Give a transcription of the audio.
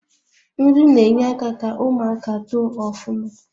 Nri na enye aka ka ụmụaka too ufuma